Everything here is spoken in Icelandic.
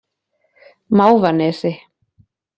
Mávanesi